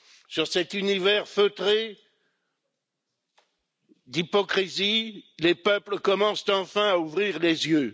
Sur cet univers feutré d'hypocrisie, les peuples commencent enfin à ouvrir les yeux.